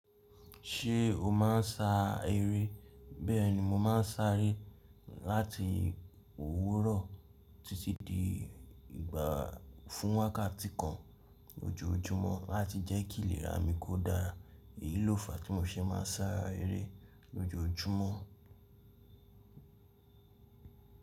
Ṣé o má ń sa eré? Bẹ́ẹ̀ni mo má ń sá eré láti òwúrọ̀ títí di ìgbà fún wákàtí kan lójoójúmọ́ láti jẹ́ kí ìlera mi kó dára. Èyí ló fàá tí mo ṣe má ń sá eré lójoójúmọ́.